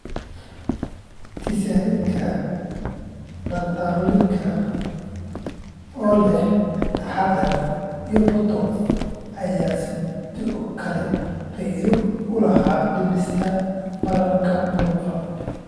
Tizanidineka, dantrolenka (oo leh taxaddar), iyo Botox ayaa sidoo kale faa'iido u lahaa dhimista bararka muruqa.